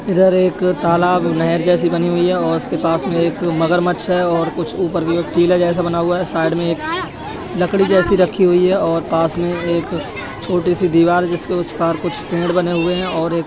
इधर एक तालाब नहर जैसी बनी हुई है औ उसके पास में मगरमच्छ है और कुछ ऊपर भी टिले जैसा बना हुआ है। साइड में एक लकड़ी जैसी रखी हुई है और पास में एक छोटी सी दीवार है जिसके उस पार कुछ पेड़ बने हुए हैं और एक --